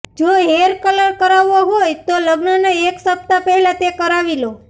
જો hair colour કરાવવો હોય તો લગ્નના એક સપ્તાહ પહેલા તે કરાવી લો